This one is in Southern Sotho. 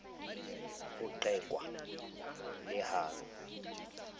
ho qekwa le ha ho